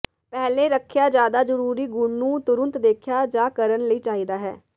ਪਹਿਲੇ ਰੱਖਿਆ ਜ਼ਿਆਦਾ ਜ਼ਰੂਰੀ ਗੁਣ ਨੂੰ ਤੁਰੰਤ ਦੇਖਿਆ ਜਾ ਕਰਨ ਲਈ ਚਾਹੀਦਾ ਹੈ